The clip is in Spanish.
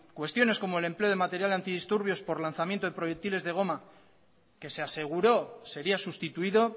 cuestiones como el empleo de material antidisturbios por lanzamiento de proyectiles de goma que se aseguró sería sustituido